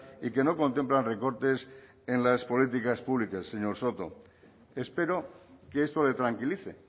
y que no contemplan recortes en las políticas públicas señor soto espero que esto le tranquilice